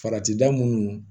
Farati da munnu